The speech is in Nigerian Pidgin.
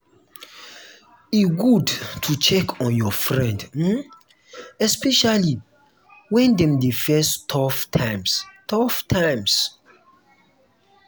e good to check on your friend um especially when dem dey face tough times. tough times.